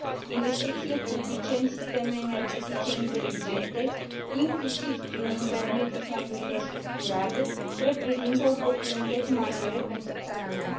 Investițiile publice în sisteme energetice inteligente, inclusiv prin intermediul fondurilor structurale, reprezintă oportunități majore pentru țara mea.